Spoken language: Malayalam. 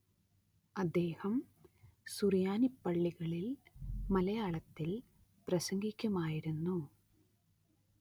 അദ്ദേഹം സുറിയാനിപ്പള്ളികളിൽ മലയാളത്തിൽ പ്രസംഗിക്കുമായിരുന്നു.